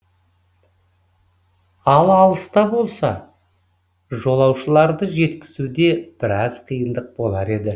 ал алыста болса жолаушыларды жеткізуде біраз қиындық болар еді